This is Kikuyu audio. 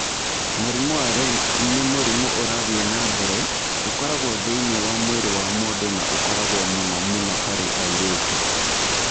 Mũrimũ wa Rett nĩ mũrimũ ũrathiĩ na mbere, ũkoragwo thĩinĩ wa mwĩrĩ wa mũndũ na ũkoragwo mũno mũno harĩ airĩtu.